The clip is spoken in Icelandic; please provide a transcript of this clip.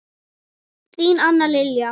Þín Anna Lilja.